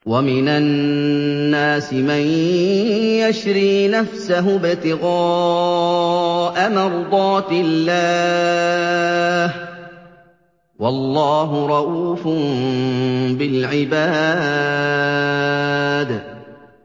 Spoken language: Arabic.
وَمِنَ النَّاسِ مَن يَشْرِي نَفْسَهُ ابْتِغَاءَ مَرْضَاتِ اللَّهِ ۗ وَاللَّهُ رَءُوفٌ بِالْعِبَادِ